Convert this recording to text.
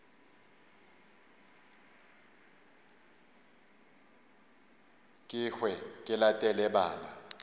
ke hwe ke latele bana